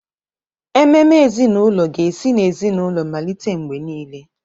Ememe ezinaụlọ ga-esi n'ezinaụlọ malite mgbe niile.